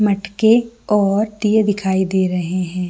मटके और दिये दिखाई दे रहे है।